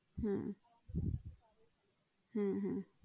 হম হম হম